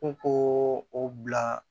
U k'o bila